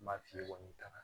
Ma fili kɔni taara